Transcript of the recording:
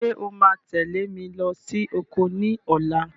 Ṣé o máa tẹ̀lé mi lọ sí oko ní ọ̀la?